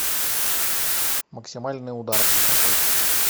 максимальный удар закачай